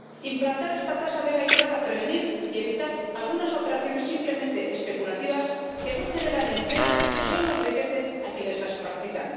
Implantar esta tasa debe ayudar a prevenir y evitar algunas operaciones simplemente especulativas que no generan empleo y solo enriquecen a quienes las practican